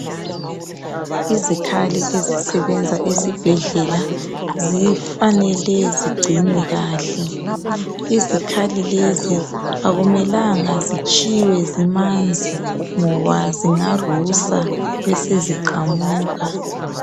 Izikhali ezisebenza esibhedlela zifanele zigcinwe kahle izikhali lezi akumelanga zitshiywe zimanzi ngoba zingarusa beseziqamuka